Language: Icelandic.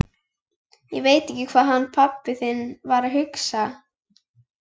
Ég veit ekki hvað hann pabbi þinn var að hugsa!